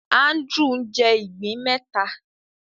Andrew ń jé ìgbín méta